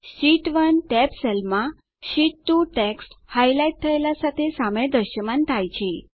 sheet 1 tab સેલમાં sheet 2 text highlight થયેલા સાથે સામે દ્રશ્યમાન થાય છે